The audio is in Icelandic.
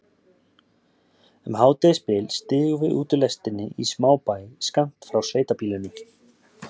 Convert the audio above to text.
Um hádegisbil stigum við út úr lestinni í smábæ skammt frá sveitabýlinu.